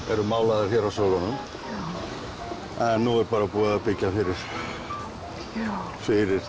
eru málaðar hér af svölunum en nú er búið að byggja fyrir